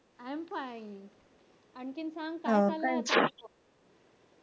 i am fine आणखीन सांग काय चाललंय?